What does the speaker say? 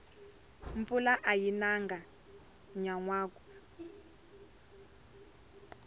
mpfula ayi nanga nyanwaka